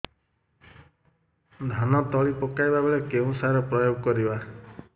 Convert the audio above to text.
ଧାନ ତଳି ପକାଇବା ବେଳେ କେଉଁ ସାର ପ୍ରୟୋଗ କରିବା